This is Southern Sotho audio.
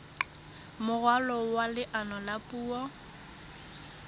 moralo wa leano la puo